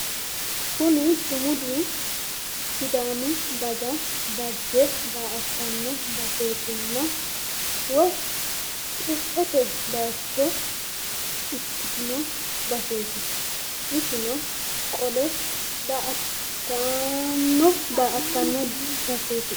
Kuni sumudu sidaamu daga dagge daa"attanno baseetinna woy qirtsete bayiicho ikkitino baseeti isino qole daa"attanno baseeti